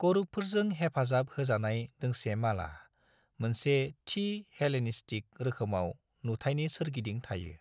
करूबफोरजों हेफाजाब होजानाय दोंसे माला, मोनसे थि हेलेनिस्टिक रोखोमाव नुथायनि सोरगिदिं थायो।